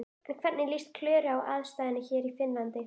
En hvernig líst Klöru á aðstæður hér í Finnlandi?